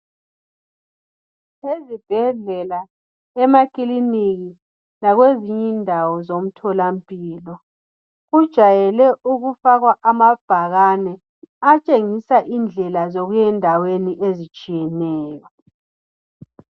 Ezibhedlela emaclinikhi lakwe zinye indawo zomthola mpilo kujayele ukufakwa amabhakani atshengisa indlela zokuya endaweni ezitshiyeneyo